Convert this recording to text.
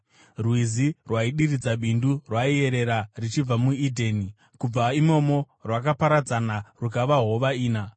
Rwizi rwaidiridza bindu rwaiyerera ruchibva muEdheni; kubva imomo rwakaparadzana rukava hova ina.